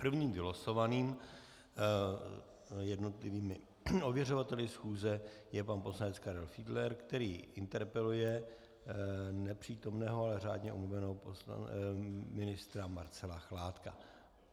Prvním vylosovaným jednotlivými ověřovateli schůze je pan poslanec Karel Fiedler, který interpeluje nepřítomného, ale řádně omluveného ministra Marcela Chládka.